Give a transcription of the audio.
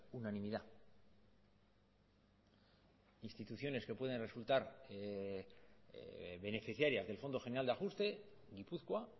unanimidad instituciones que pueden resultar beneficiarias del fondo general de ajuste gipuzkoa